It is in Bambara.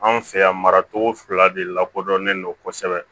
Anw fɛ yan mara cogo fila de lakodɔnlen don kosɛbɛ